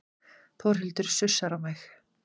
Þórhildur sussar á mig.